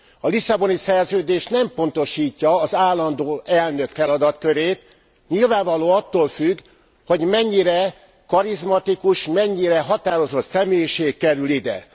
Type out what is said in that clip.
A Lisszaboni Szerződés nem pontosítja az állandó elnök feladatkörét, nyilvánvaló attól függ, hogy mennyire karizmatikus, mennyire határozott személyiség kerül ide.